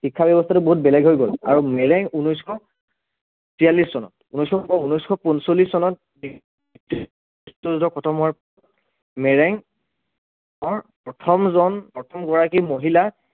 শিক্ষাব্য়ৱস্থাটো বহুত বেলেগ হৈ গল আৰু মেৰেং ঊনৈছশ তিয়াল্লিছ চনত ঊনৈছশ ঊনৈছশ পঞ্চল্লিছ চনত খতম হোৱাত, মেৰেং অৰ প্ৰথমজন প্ৰথমগৰাকী মহিলা